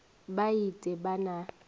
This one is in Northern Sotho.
ba et e ba na